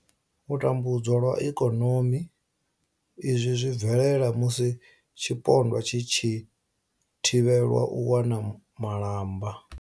U tambudzwa lwa ikonomi izwi zwi bvelela musi tshipondwa tshi tshi thivhelwa u wana malamba.